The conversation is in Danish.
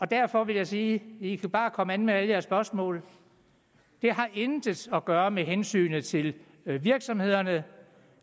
derfor vil jeg sige i kan bare komme an med alle jeres spørgsmål det har intet at gøre med hensynet til virksomhederne